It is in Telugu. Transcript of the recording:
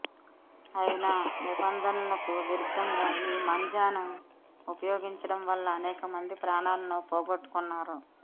అయినా నిబంధనలకు విరుద్దంగా ఈ మాంజాను ఉపయోగించడం వల్ల అనేక మంది ప్రాణాలను పోగొట్టుకొంటున్నారు